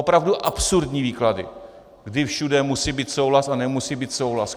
Opravdu absurdní výklady, kdy všude musí být souhlas a nemusí být souhlas.